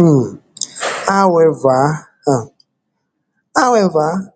um however um however